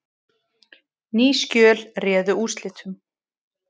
Ný skjöl réðu úrslitum